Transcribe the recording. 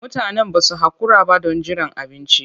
Mutanen ba su haƙura ba don jiran abinci.